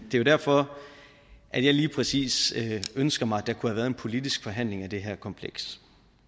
jo derfor at jeg lige præcis ønsker mig at der kunne have været en politisk forhandling om det her kompleks